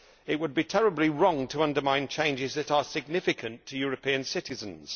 It would be terribly wrong to undermine changes that are significant to European citizens.